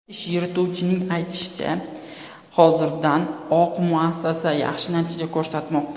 Ish yurituvchining aytishicha, hozirdan oq muassasa yaxshi natija ko‘rsatmoqda.